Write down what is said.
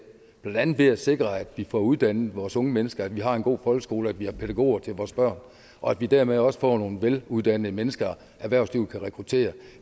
blandt andet ved at sikre at vi får uddannet vores unge mennesker at vi har en god folkeskole og at vi har pædagoger til vores børn og at vi dermed også får nogle veluddannede mennesker erhvervslivet kan rekruttere